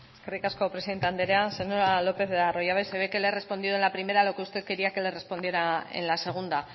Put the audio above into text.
eskerrik asko presidente andrea señora lópez de arroyabe se ve que le he respondido en la primera lo que usted quería que le respondiera en la segunda